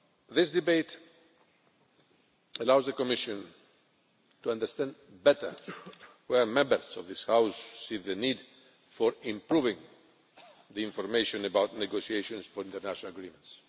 This debate allows the Commission to understand better where Members of this House see the need for improving the information about negotiations for international agreements.